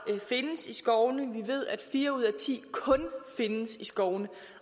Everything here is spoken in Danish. findes i skovene vi ved at fire ud af ti kun findes i skovene